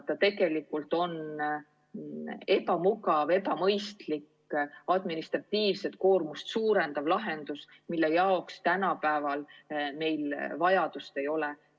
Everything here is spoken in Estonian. See tegelikult on ebamugav, ebamõistlik, administratiivset koormust suurendav lahendus, mille järele meil tänapäeval vajadust ei ole.